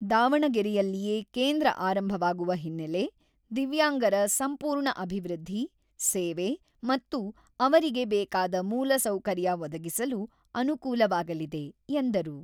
ದಾವಣಗೆರೆಯಲ್ಲಿಯೇ ಕೇಂದ್ರ ಆರಂಭವಾಗುವ ಹಿನ್ನೆಲೆ, ದಿವ್ಯಾಂಗರ ಸಂಪೂರ್ಣ ಅಭಿವೃದ್ಧಿ, ಸೇವೆ ಮತ್ತು ಅವರಿಗೆ ಬೇಕಾದ ಮೂಲ ಸೌಕರ್ಯ ಒದಗಿಸಲು ಅನುಕೂಲವಾಗಲಿದೆ" ಎಂದರು.